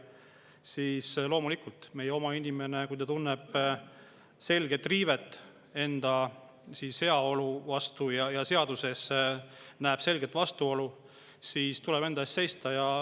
Nii et loomulikult, kui meie oma inimene tunneb enda heaolu selget riivet ja näeb seaduses selget vastuolu, siis tuleb enda eest seista.